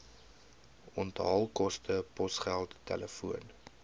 onthaalkoste posgeld telefoon